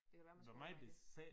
Det kan være man skulle